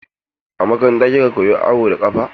A makaranta kika koya awo da ƙafa?